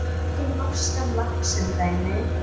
Tökum norskan lax sem dæmi.